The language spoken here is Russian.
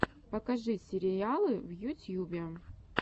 покажи сериалы в ютьюбе